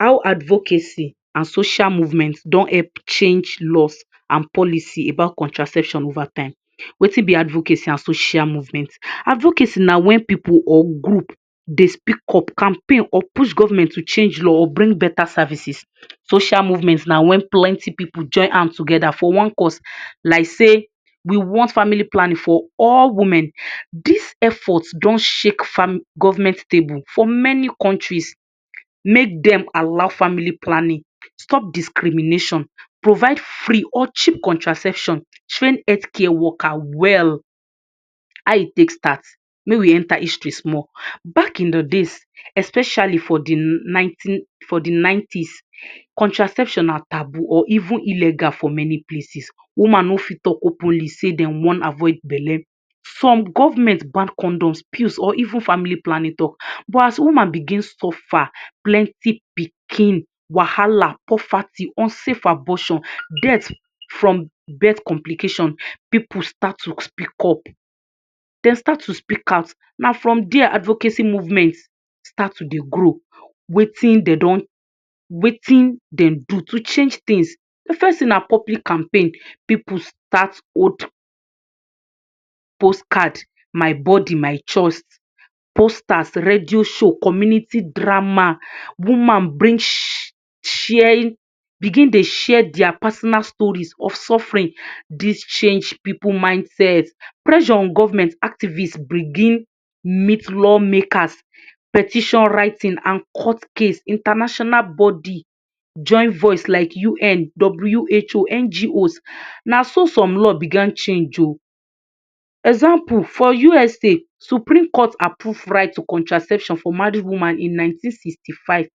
How advocacy and social movement don help change laws and policy about contraception over time. Wetin be advocacy and social movement? Advocacy na when pipu or group dey speak up, campaign or push government to change law or bring beta services. Social movement na when plenty pipu join hand together for one cause, like sey we want family planning for all women. Dis effort don shake government table for many countries make dem allow family planning, stop discrimination, provide free or cheap contraception, train healthcare worker well. How e take start? Make we enter history small. Back in de days, especially for de nineteen for de nineties, contraception na taboo, or even illegal for many places. Woman no fit talk openly sey dem wan avoid bele. Some government ban condoms, pills, or even family planning talk. But as woman begin suffer, plenty pikin, wahala, poverty, unsafe abortion, death from birth complication, pipu start to speak up, dem start to speak out. Na from dia advocacy movement start to dey grow. Wetin dey don, wetin dem do to change things? De first thing na public campaign. Pipu start hold postcard, my body my choice, posters, radio show, community drama, woman bring begin dey share dia personal stories of suffering. Dis change pipu mindset. Pressure on government, activist begin meet law makers, petition writing, and court case. International body join voice like UN, WHO, NGOs. Na so some law began change o. Example, for US supreme court approve right to contraception for married woman in nineteen sixty-five.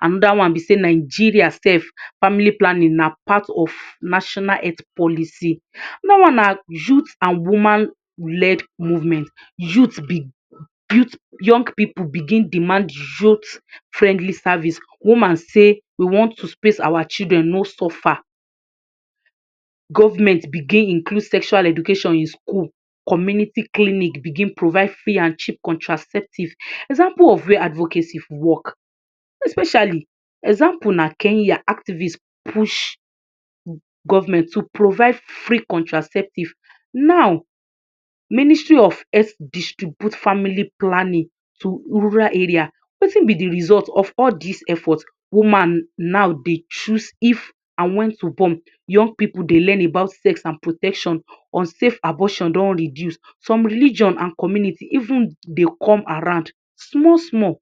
Another one be sey Nigeria sef, family planning na part of national health policy. Another one na youth and woman led movement. Youth youth young pipu begin demand friendly service. Woman say we want to space our children, no suffer. Government begin include sexual education in school. Community clinic begin provide free and cheap contraceptive. Example of where advocacy work, especially, example na Kenya, activist push government to provide free contraceptive. Now ministry of health distribute family planning to rural area. Wetin be de result of all dis efforts? Woman now dey choose if and when to born. Young pipu dey learn about sex and protection. Unsafe abortion don reduce. Some religion and community even dey come around small small.